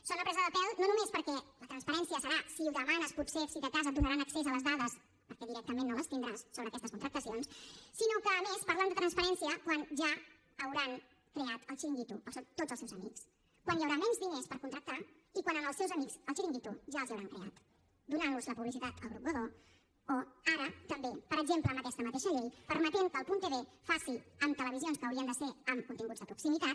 sona a presa de pèl no només perquè la transparència serà si ho demanes potser si de cas et donaran accés a les dades perquè directament no les tindràs sobre aquestes contractacions sinó que a més parlen de transparència quan ja hauran creat el xiringuito per a tots els seus amics quan hi haurà menys diners per contractar i quan als seus amics el xiringuito ja els l’hauran creat donant los la publicitat al grup godó o ara també per exemple amb aquesta mateixa llei permetent que el punt tv faci amb televisions que haurien de ser amb continguts de proximitat